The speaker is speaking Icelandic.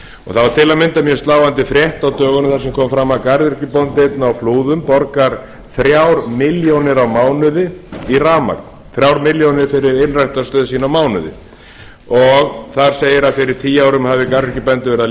það var til að mynda mjög sláandi frétt á dögunum þar sem kom fram að garðyrkjubóndi einn á flúðum borgar þrjár milljónir á mánuði í rafmagn þrjár milljónir fyrir ylræktarstöð sína á mánuði þar segir að fyrir tíu árum hafi garðyrkjubændur verið að